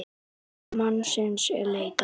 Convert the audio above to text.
Þriðja mannsins er leitað.